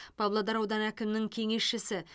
павлодар ауданы әкімінің кеңесшісі